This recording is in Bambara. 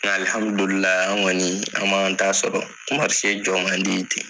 Nka an kɔni an b'an ta sɔrɔ se jɔ ma di ten.